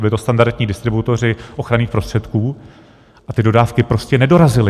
Byli to standardní distributoři ochranných prostředků a ty dodávky prostě nedorazily.